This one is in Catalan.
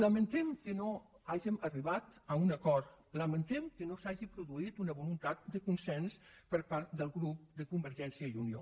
lamentem que no hàgim arribat a un acord lamentem que no s’hagi produït una voluntat de consens per part del grup de convergència i unió